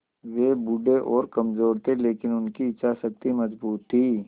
वे बूढ़े और कमज़ोर थे लेकिन उनकी इच्छा शक्ति मज़बूत थी